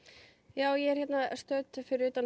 ég er stödd fyrir utan